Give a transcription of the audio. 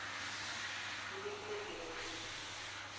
ke lekile ke re ke